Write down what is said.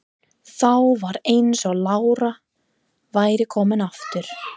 Þá var eins og lára væri komin aftur.